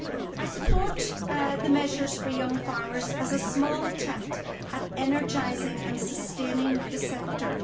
I support the measures for young farmers as a small attempt at energising and sustaining the sector.